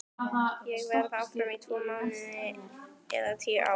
Verð ég áfram í tvo mánuði eða tíu ár?